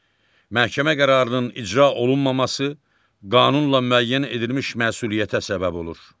Məhkəmə qərarının icra olunmaması qanunla müəyyən edilmiş məsuliyyətə səbəb olur.